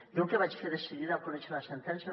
jo el que vaig fer de seguida al conèixer la sentència